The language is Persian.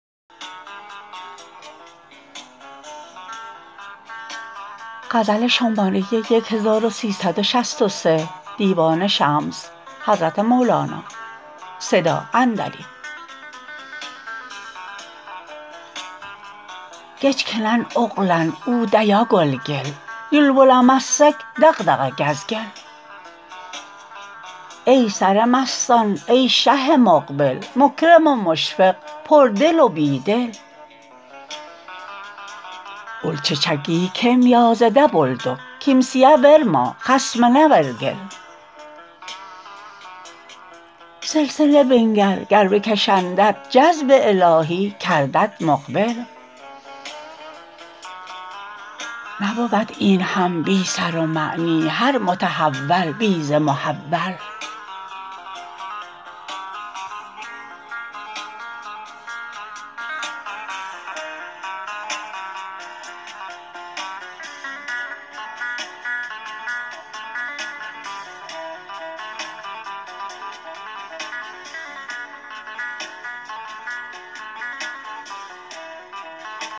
کجکنن اغلن اودیا کلکل یوک بلمسک دغدغ کز کل ای سر مستان ای شه مقبل مکرم و مشفق پردل و بی دل اول ججکی کم یازده بلدک کمیه ورما خصمنا ور کل سلسله بنگر گر بکشندت جذب الهی کردت مقبل نبود این هم بی سر و معنی هر متحول بی ز محول